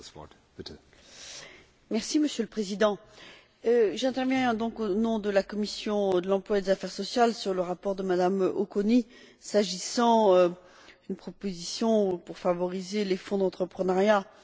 Monsieur le Président, j'interviens au nom de la commission de l'emploi et des affaires sociales, sur le rapport de Mme Auconie, s'agissant d'une proposition pour favoriser les fonds d'entrepreneuriat social européens.